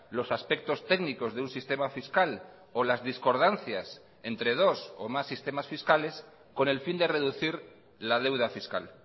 los aspectos técnicos de un sistema fiscal o las discordancias entre dos o más sistemas fiscales con el fin de reducir la deuda fiscal